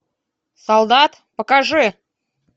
солдат покажи